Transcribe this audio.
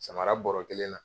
Samara barɛ kelen na